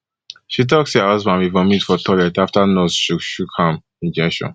she tok say her husband bin vomit for toilet afta nurse shook shook am injection